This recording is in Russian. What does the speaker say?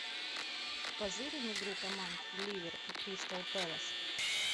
позырим игру команд ливер и кристал пэлас